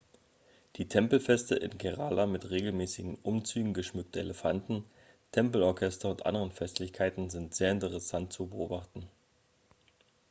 die tempelfeste in kerala mit regelmäßigen umzügen geschmückter elefanten tempelorchester und anderen festlichkeiten sind sehr interessant zu beobachten